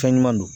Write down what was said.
Fɛn ɲuman don